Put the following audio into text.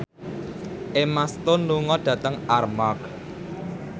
Emma Stone lunga dhateng Armargh